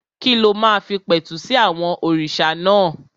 Kí ló máa fi pẹ̀tù sí àwọn òrìṣà náà?